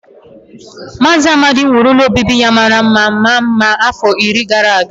Maazị Amadi wuru ụlọ obibi ya mara mma ma maa mma afọ iri gara aga